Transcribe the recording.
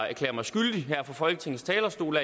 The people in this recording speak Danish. erklære mig skyldig her fra folketingets talerstol